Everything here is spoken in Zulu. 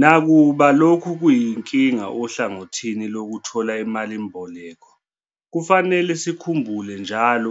Nakuba lokhu kuyinkinga ohlangothini lokuthola imalimboleko, kufanele sikhumbule njalo